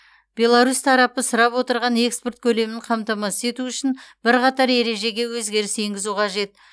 беларусь тарапы сұрап отырған экспорт көлемін қамтамасыз ету үшін бірқатар ережеге өзгеріс енгізу қажет